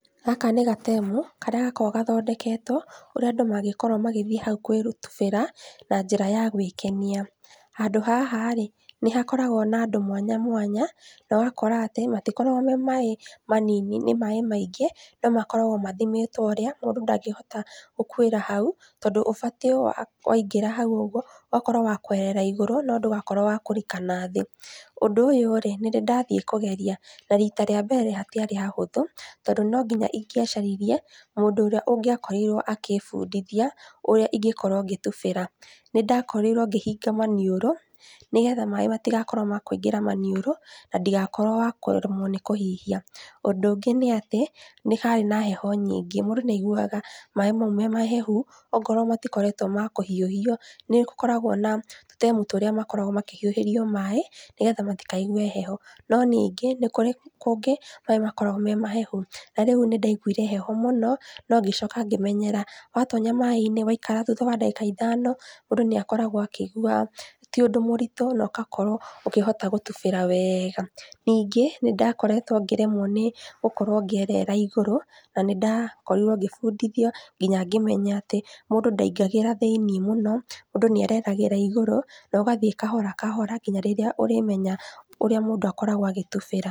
Gaka nĩ gatemu, karĩa gakoragwo gathondeketwo, ũrĩa andũ mangĩkorwo magĩthiĩ hau gwĩtubĩra na njĩra ya gwĩkenia. Handũ haharĩ, nĩhakoragwo na andũ mwanya mwanya, na ũgakora atĩ matikoragwo me maaĩ manini, nĩ maaĩ maingĩ, no makoragwo mathimĩtwo ũrĩa, mũndũ ndangĩhota gũkuĩra hau, tondũ ũbatiĩ waingĩra hau-ũguo, ũgakorwo wa kũerera igũrũ, no ndũgakorwo wĩ wakũrika nathĩ. Ũndũ ũyũrĩ, nĩndĩndathiĩ kũgeria, na rita rĩambere hatiarĩ hahũthũ, tondũ nonginya ingĩacaririe mũndũ ũrĩa ũngĩakorirwo agĩbundithia ũrĩ ingĩkorwo ngĩtubĩra. Nĩndakorirwo ngĩhinga maniũrũ, nĩgetha maaĩ matigakorwo ma kũingĩra maniũrũ nandigakorwo wa kũremwo nĩkũhihia. Ũndũ ũngĩ nĩ atĩ, nĩharĩ na heho nyingĩ. Mũndũ nĩaiguaga maaĩ mau me mahehu akorwo matikoretwo ma kũhiũhio. Nĩgũkoragwo na tũtemu tũrĩa makoragwo makĩhiũhĩrio maaĩ nĩgetha matikaigue heho. No ningĩ nĩkũrĩ kũngĩ maaĩ makoragwo me mahehu. Na rĩu nĩndaiguire heho mũno, ngĩcoka ngĩmenyera. Watonya maaĩ-inĩ waikara thutha wa ndagĩka ithano, mũndũ nĩakoragwo akĩigua ti ũndũ mũritũ, na ũgakorwo ũkĩhota gũtubĩra wega. Ningĩ, nĩndakoretwo ngĩremwo nĩgũkorwo ngĩerera igũrũ, na nĩndakorirwo ngĩbundithio, nginya ngĩmenya atĩ mũndũ ndaingagĩra thĩinĩ mũno , mũndũ nĩereragĩra igũrũ, na ũgathiĩ kahora kahora nginya rĩrĩa ũrĩmenya ũrĩa mũndũ akoragwo agĩtubĩra.